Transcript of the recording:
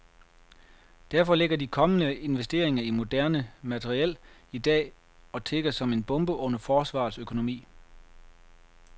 Derfor ligger de kommende investeringer i moderne materiel i dag og tikker som en bombe under forsvarets økonomi.